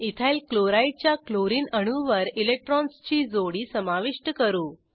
ethyl chloride च्या chlorine अणूवर इलेक्ट्रॉन्सची जोडी समाविष्ट करू